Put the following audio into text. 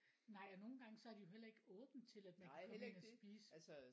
Nej og nogen gange så har de jo heller ikke åbent til at man kan komme ind og spise